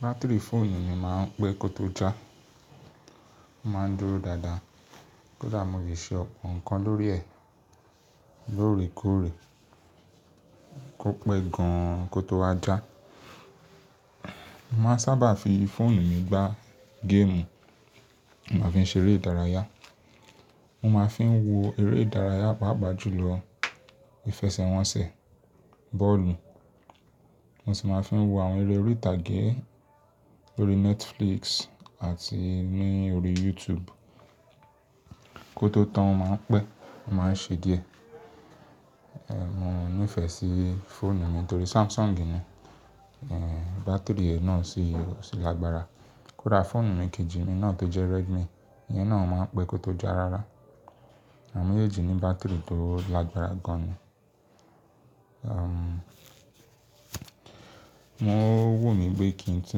Batiri fóònù mi máa ń pẹ́ kó tó já, ó máa ń dúró dáadáa. Kódà mo le ṣe ọ̀pọ̀ nǹkan lórí ẹ̀ lóòrèkóòrè, kó pẹ́ gan kó tó wá já. Mo máa ń sábà fi fóònù mi gbá géèmù, mo máa ń fi ṣe eré ìdárayá, mo máa fi ń wo eré ìdárayá pàáàá jùlọ ìfẹsẹ̀wọnsẹ̀, bóòlù. Mo sì máa ń fi wo àwọn eré orí ìtàgé lórí Netflix àti lórí YouTube kó tó tán, ó máa ń pẹ́, ó máa ń ṣe díẹ̀. Mo nífẹ̀ẹ́ sí fóònù mi torí Samsung ni, bátìrì rẹ̀ náà sì ò sí lágbára. Kódà fóònù mi kejì mi náà tó jẹ́ Redmi, ìyẹn náà máa ń pẹ́ kó tó já rára. Àwọ́n mẹ́jeji ní bátìrì tó lágbára gan ni. O wù mí pé kí n tú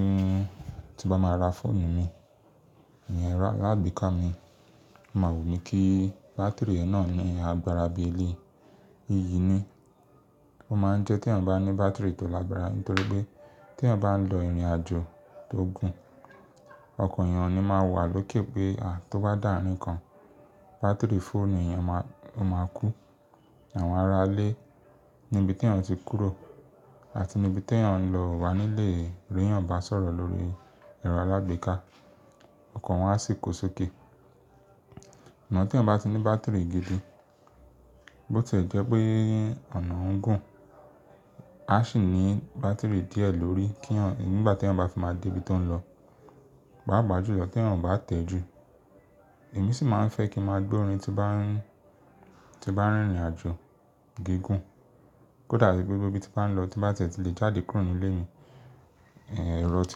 ń, tí bá máa ra fóònù mi, ìyẹn alágbèéká mi, o máa wù mí kí bátìrì náà ni agbára bí eléyìí ni. Ó máa ń jẹ́ tí ẹ̀yàn bá ní bátìrì tó lágbára, nítorí pé tí ẹ̀yàn bá ń lọ ìrìnàjò tó gùn, ọkàn ẹ̀yàn ni máa wà lókè pé tó bá dàarín kan bátìrì fóònù ẹ̀yàn máa, ó máa kú. Àwọn ará ilé níbi tí ẹ̀yàn ti kúrò àti níbi tí ẹ̀yàn ń lọ o wà nílé rí ẹ̀yàn bá sọ̀rọ̀ lórí ẹ̀rọ alágbèéká ọkàn wọn a sì kó sókè. Àmọ́ tí ẹ̀yàn bá ti ní bátìrì gidi bó tì ẹ jẹ́ pé ọ̀nà ọ̀wuń gùn, a sì ní bátìrì díẹ̀ lórí kí ẹ̀yàn, nígbà tí ẹ̀yàn bá fi máa dé ibi tó ń lọ, pààpaà jùlọ tí ẹ̀yàn ò bá tẹ́ ju. Èmi sì máa ń fẹ́ kí a máa gbọ́ orin tí bá ń, tí bá ń rìn ìrìnàjò gígùn. Kódà tí gbogbo ibi tí bá ń lọ tí bá tẹ̀tì lè jáde kúrò nínú ilé mi, ẹ̀rọ tí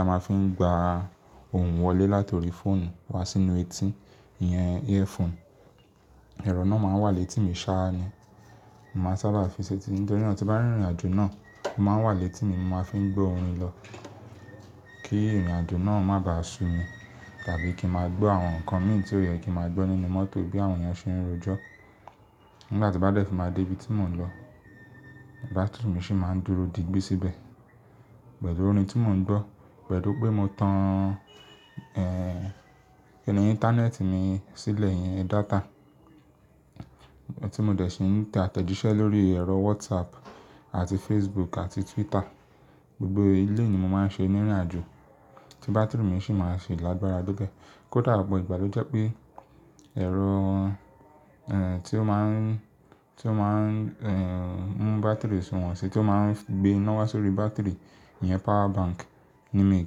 a máa ń fi gba ohun wọlé látòrí fóònù wá sínú etí, ìyẹn earphone. Ẹ̀rọ náà máa ń wà létí mi sá ni. Mo máa ń sábà fi sí etí mi nítorí náà tí bá ń rìn ìrìnàjò náà, ó máa ń wà létí mi, mo máa ń fi gbọ́ orin lọ kí ìrìnàjò náà má bàá sú mi tàbí kí a máa gbọ́ àwọn nǹkan mi tí ó yẹ kí a máa gbọ́ nínú mọ́tò bí àwọn ènìyàn ṣe ń ro ẹ̀jọ́. Nígbà tí bá dẹ̀ tí máa dé ibi tí mò ń lọ bátìrì mi sì máa ń dúró digbí sí bẹ́. Pẹ̀lú orin tí mò ń gbọ́, pẹ̀lú pé mo tan ẹn internet mi sílẹ̀, ìyẹn data tí mo dẹ̀ ṣe ń tẹ àtẹ́jíṣẹ́ lórí ẹ̀rọ WhatsApp àti Facebook àti Twitter. Gbogbo eléyìí ni mo máa ń ṣe ní ìrìnàjò tí bátìrì mi sì máa ń ṣe lágbára dé ibẹ̀. Kódà ọ̀pọ̀ ìgbà ló jẹ́ pé ẹ̀rọ tí ó máa ń, tí ó máa ń mú bátìrì sun wọ́n sí, tí ó máa ń gbé iná wá sórí bátìrì, ìyẹn power bank ni mí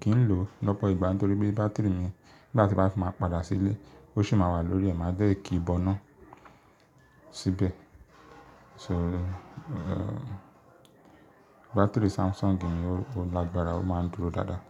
kí ń lò lọ́pọ̀ ìgbà nítorí pé bátìrì mi nígbà tí bá fi máa padà sílé ó sì máa wà lórí, ẹ̀ máa dẹ̀ kí i bọ́ná síbẹ̀. So bátìrì Samsung mi ó lágbára, ó máa ń dúró dáadáa.